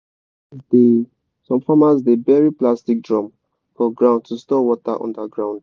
some farmers dey some farmers dey bury plastic drum for ground to store water under ground.